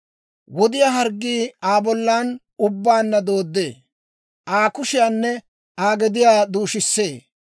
Wod'iyaa harggii Aa bollan ubbaan dooddee; Aa kushiyaanne Aa gediyaa duushissee.